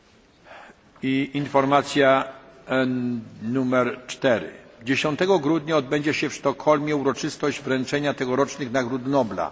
Czwarta informacja 10 grudnia w Sztokholmie odbędzie się uroczystość wręczenia tegorocznych nagród Nobla.